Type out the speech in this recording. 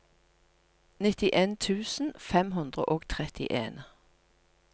nittien tusen fem hundre og trettien